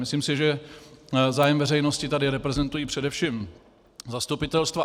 Myslím si, že zájem veřejnosti tady reprezentují především zastupitelstva.